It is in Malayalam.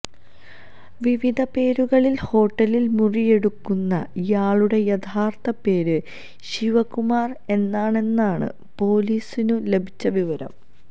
വിവിധ പേരുകളില് ഹോട്ടലില് മുറിയെടുക്കുന്ന ഇയാളുടെ യഥാര്ത്ഥ പേര് ശിവകുമാര് എന്നാണെന്നാണ് പോലീസിനു ലഭിച്ച വിവരം